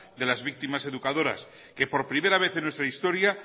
de las víctimas educadoras que por primera vez en nuestra historia